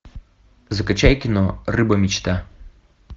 закачай кино рыба мечта